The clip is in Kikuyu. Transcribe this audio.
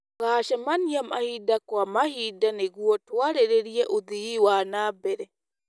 Tũgacemania mahinda kwa mahinda nĩguo kũarĩrĩria ũthii wa na mbere.